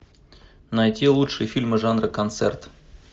найти лучшие фильмы жанра концерт